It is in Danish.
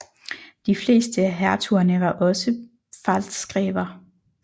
De fleste af hertugerne var også pfalzgrever